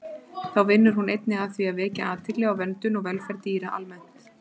Þá vinnur hún einnig að því að vekja athygli á verndun og velferð dýra almennt.